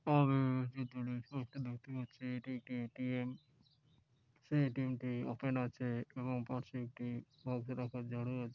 আ-চিত্রটিতে একটি দেখতে পাচ্ছি এটি একটি এ. টি. এম | সেই এ. টি. এম - টি ওপেন আছে | এবং পাশের একটি রাখার ঝাড়ু আছে |